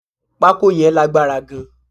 Pako yàn lágbára gan